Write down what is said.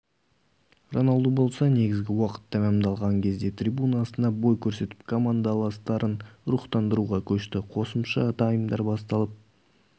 роналду болса негізгі уақыт тәмамдалған кезде трибуна астынан бой көрсетіп командаластарын рухтандыруға көшті қосымша таймдар басталып